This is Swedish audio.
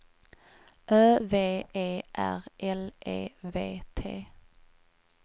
Ö V E R L E V T